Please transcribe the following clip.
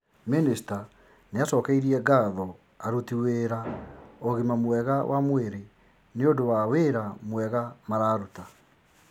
Mĩnĩsta nĩacokeirie ngatho aruti wĩra ũgima mwega wa mwĩrĩ nĩũndũ wa wĩra mwega mararuta